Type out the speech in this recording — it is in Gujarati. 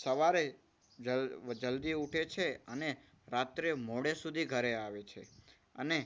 સવારે જલ્દી ઊઠે છે અને રાત્રે મોડે સુધી ઘરે આવે છે. અને